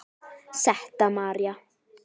Setta María.